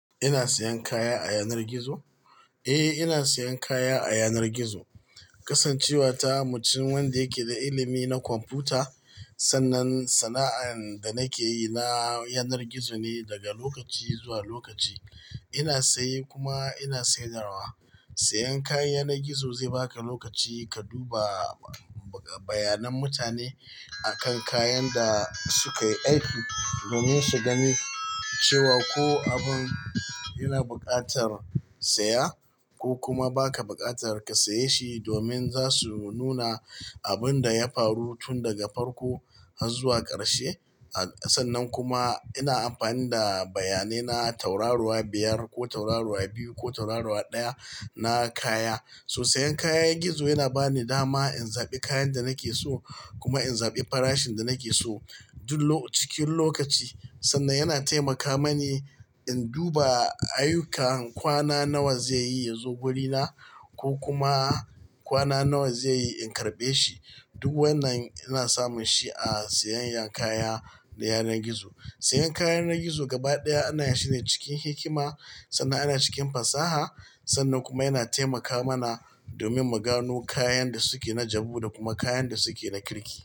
Ina sayan kaya a yanar gizo? Eh, ina sayan kaya a yanar gizo. Kasancewa ta mutum wanda yake da ilimi na kwamfuta, sannan sana'ar da nake yi na yanar gizo ne daga lokaci zuwa lokaci. Ina saye kuma ina sayarwa. Sayan kayan yanar gizo zai baka lokaci ka duba bayanan mutane akan kayan da suka yi aiki. Domin su gani cewa ko abun yana buƙatar saya ko kuma ba ka buƙatar ka saye shi, domin za su nuna abun da ya faru tun daga farko har zuwa ƙarshe. Sannan kuma ina amfani da bayanai na tauraruwa biyar ko tauraruwa biyu ko tauraruwa ɗaya na kaya. So sayan kayan gizo yana bani dama in zaɓi kayan da nake so kuma in zaɓi farashin da nake so duk cikin lokaci. Sannan yana taimaka mani in duba ayukan kwana nawa zai yi ya zo wurina ko kuma kwana nawa zai yi in karɓe shi. Duk wannan ina samun shi a sayayyan kaya na yanar gizo. Sayan kaya yanar gizo gaba ɗaya ana yinshi ne cikin hikima sannan ana cikin fasaha. Sannan kuma yana taimaka mana domin mu gano kayan da suke na jabu da kuma kayan da suke na kirki.